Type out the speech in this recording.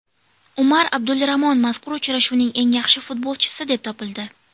Umar Abdulramon mazkur uchrashuvning eng yaxshi futbolchisi deb topildi.